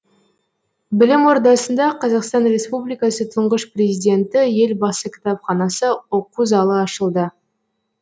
білім ордасында қазақстан республикасы тұңғыш президенті елбасы кітапханасы оқу залы ашылды